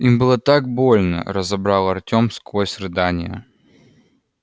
им было так больно разобрал артем сквозь рыдания